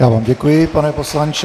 Já vám děkuji, pane poslanče.